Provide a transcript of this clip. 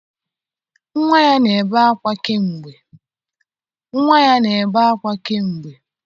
Nnwa ya na-ebe ákwá kamgbe